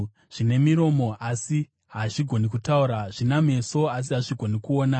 Zvine miromo, asi hazvigoni kutaura, zvina meso, asi hazvigoni kuona;